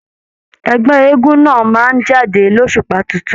Ẹgbẹ eégún náà máa n jáde l'osupa títún.